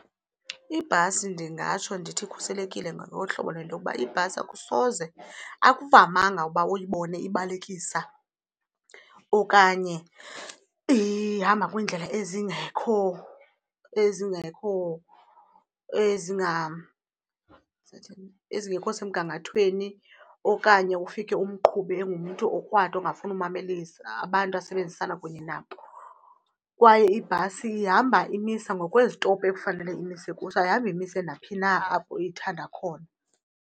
Ibhasi ndingatsho ndithi ikhuselekile ngokohlobo lento yokuba ibhasi akusoze, akuvamanga ukuba uyibone ibalekisa okanye ihamba kwiindlela ezingekho ezingekho . Ndizawuthini? Ezingekho semgangathweni okanye ufike umqhubi engumntu okrwada ongafuni umamelisa abantu asebenzisana kunye nabo. Kwaye ibhasi ihamba imisa ngokwezitophu ekufanele imise kuzo, ayihambi imisa naphi na apho ithanda khona.